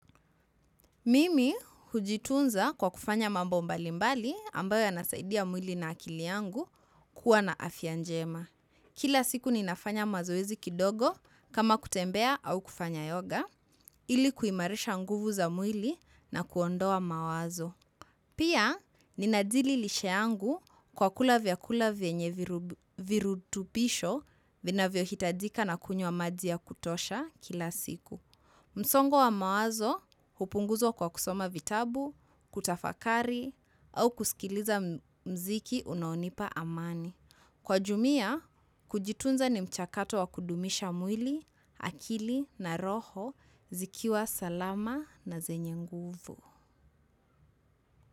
Mimi hujitunza kwa kufanya mambo mbali mbali ambayo yanasaidia mwili na akili yangu kuwa na afya njema. Kila siku ninafanya mazoezi kidogo kama kutembea au kufanya yoga ili kuimarisha nguvu za mwili na kuondoa mawazo pia ninajili lisha yangu kwa kula vyakula vyenye virutubisho vinavyohitajika na kunywa maji ya kutosha kila siku msongo wa mawazo, hupunguzwa kwa kusoma vitabu, kutafakari, au kusikiliza mziki unaonipa amani. Kwa jumia, kujitunza ni mchakato wa kudumisha mwili, akili na roho, zikiwa salama na zenye nguvu.